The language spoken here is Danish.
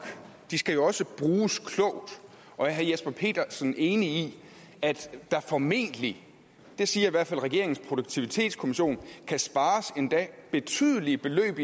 de skal jo også bruges klogt og er herre jesper petersen enig i at der formentlig det siger i hvert fald regeringens produktivitetskommission kan spares endda betydelige beløb